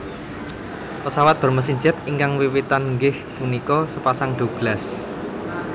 Pesawat bermesin jet ingkang wiwitan inggih punika sepasang Douglas